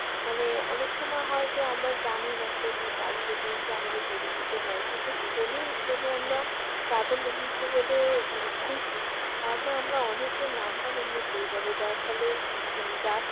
মানে অনেক সময় হয় যে আমরা জানি না কোন travel agency আমাদের পরিচিত নয় কিন্তু phone এ যদি আমরা travel agency হলে মানে খুঁজি তাহলে আমরা অনেকের number এমনে পেয়ে যাব। যার ফলে মানে যার